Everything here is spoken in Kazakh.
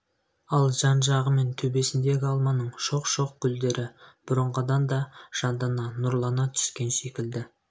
ал жан-жағы мен төбесіндегі алманың шоқ-шоқ гүлдері бұрынғыдан да жандана нұрлана түскен секілді